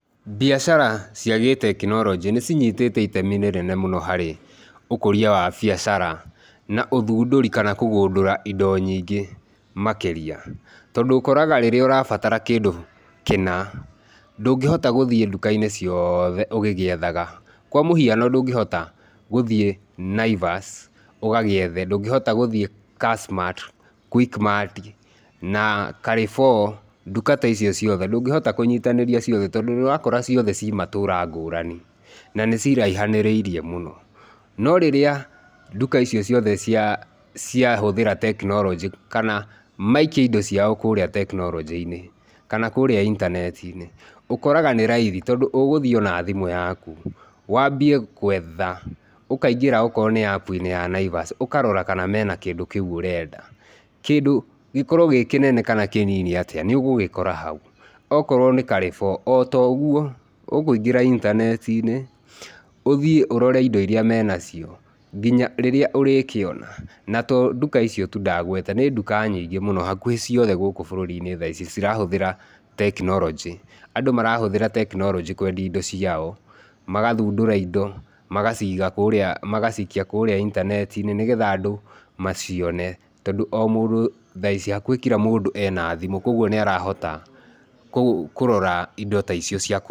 Mbiacara cia gĩtekinoronjĩ nĩcinyitĩte itemi rĩnene harĩ ũkũria wa biacara na ũthũndũri kana kũgũndũra indo nyingĩ makĩria, tondũ ũkoraga rĩrĩa ũrabatara kĩndũ kĩna, ndũngĩhota gũthiĩ nduka-inĩ ciothe ũgĩgiethaga. Kwa mũhiano ndũngĩhota gũthiĩ Naivas ũgagĩethe ndũngĩhota gũthie Kassmart, Quickmart na Carrefour, nduka taicio ciothe. Ndũngĩhota kũnyitanĩria ciothe, tondũ nĩũrakora ciothe cimatũra ngũrani na nĩ ciraihanĩrĩirie mũno no rĩrĩa nduka icio ciothe cia cia hũthĩra tekinoronjĩ kana maikia indo ciao kũrĩa tekinoronjĩ-inĩ kana kũrĩa intaneti-inĩ. Ũkóraga nĩ raithi tondũ ũgũthiĩ na thimũ yaku wambie kwetha ũkaingĩra okorwo nĩ app -inĩ ya Naivas ũkarora kana mena kĩndũ kĩu ũrenda. Kindũ gĩkorwo gĩkĩnene kana kĩnini atĩa nĩũgũgĩkora hau, okorwo nĩ Carrefour otogũo, ũkũingĩra intaneti-inĩ ũthiĩ ũrore indo iria menacio nginya rĩrĩa ũrĩkĩona na to nduka icio tu ndagweta nĩ nduka nyingĩ mũno hakuhĩ ciothe bururi-inĩ thaa ici cirahuthĩra tekinoronjĩ. Andũ marahũthĩra tekinoronjĩ kwendia indo ciao magathũndũra indo magaciga kũrĩa magacikia kũrĩa intaneti-inĩ nĩgetha andũ macione tondũ omũndũ thaa ici hakuhĩ kira mũndũ ena thimũ kogũo nĩarahota kũrora indo taicio cia kũ.